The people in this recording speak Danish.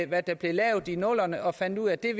hvad der blev lavet i nullerne og finde ud af at det